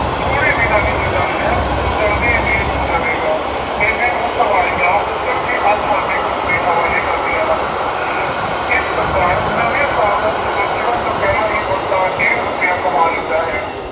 ਥੋੜ੍ਹੇ ਦਿਨਾਂ ਦੀ ਹੀ ਗੱਲ ਹੈ ਉਹ ਜਲਦੀ ਅਮੀਰ ਹੋ ਜਾਵੇਗਾ। ਐਨੇ ਨੂੰ ਸਵਾਰੀਆਂ ਉੱਤਰ ਕੇ ਅੱਠ ਆਨੇ ਉਸਦੇ ਹਵਾਲੇ ਕਰਦੀਆਂ ਹਨ। ਇਸ ਪ੍ਰਕਾਰ ਨਵੇਂ ਸਾਲ ਦਾ ਸੂਰਜ ਚੜ੍ਹਨ ਤੋਂ ਪਹਿਲਾਂ ਹੀ ਬੰਤਾ ਡੇਢ ਰੁਪਇਆ ਕਮਾ ਲੈਂਦਾ ਹੈ।